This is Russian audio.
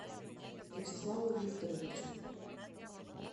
вячеславу викторовичу